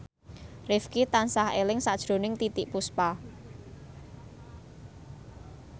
Rifqi tansah eling sakjroning Titiek Puspa